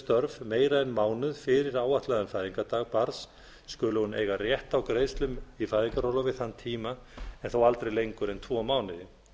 störf meira en mánuð fyrir áætlaðan fæðingardag barns skuli hún eiga rétt á greiðslum í fæðingarorlofi þann tíma en þó aldrei lengur en tvo mánuði